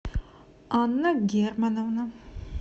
анна германовна